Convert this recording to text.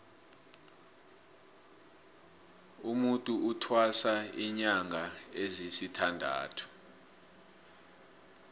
umutu uthwasa linyanga ezisithandathu